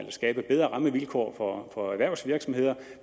skabe bedre rammevilkår for erhvervsvirksomheder